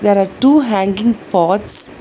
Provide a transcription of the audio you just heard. There are two hanging pots.